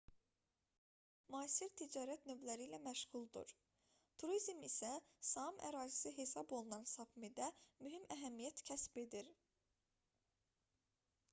hazırda saamların bir çoxu müasir ticarət növləri ilə məşğuldur turizm isə saam ərazisi hesab olunan sapmidə mühüm əhəmiyyət kəsb edir